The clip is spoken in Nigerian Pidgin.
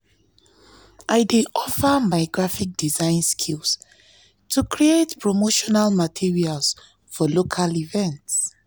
i dey offer my graphic design skills to create promotional materials for local events.